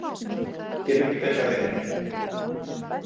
Getur ekki betra verið.